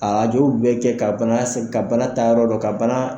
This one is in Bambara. rajow bɛɛ kɛ ka bana se ka bana taayɔrɔ dɔn ka bana